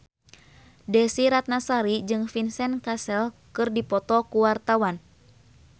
Desy Ratnasari jeung Vincent Cassel keur dipoto ku wartawan